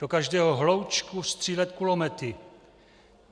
Do každého hloučku střílet kulomety.